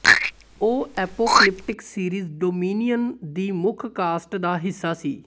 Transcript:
ਉਹ apocalyptic series Dominion ਦੀ ਮੁੱਖ ਕਾਸਟ ਦਾ ਹਿੱਸਾ ਸੀ